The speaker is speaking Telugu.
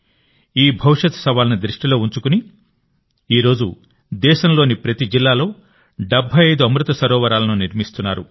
ఈ భవిష్యత్ సవాలును దృష్టిలో ఉంచుకునినేడు దేశంలోని ప్రతి జిల్లాలో 75 అమృత సరోవరాలను నిర్మిస్తున్నారు